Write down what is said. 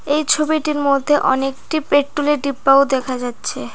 এই ছবিটির মধ্যে অনেকটি পেট্রোল এর ডিব্বাও দেখা যাচ্ছে।